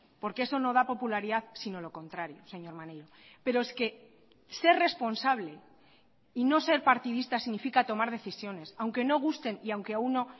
porque eso no da popularidad sino lo contrario señor maneiro pero es que ser responsable y no ser partidista significa tomar decisiones aunque no gusten y aunque a uno